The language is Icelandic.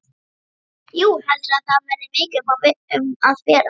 Jú, heldurðu að það verði mikið um að vera?